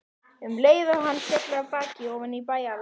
Um leið féll hann af baki ofan í bæjarlækinn.